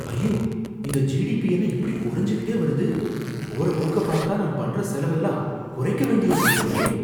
ஐயோ! இந்த ஜிடிபி என்ன இப்படி குறைஞ்சுட்டே வருது, போற போக்க பார்த்தா நான் பண்ற செலவெல்லாம் குறைக்க வேண்டியிருக்கும் போலயே!